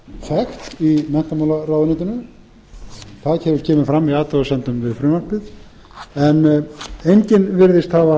ráðið er að vísu þekkt í menntamálaráðuneytinu það kemur fram í athugasemdum við frumvarpið en enginn virðist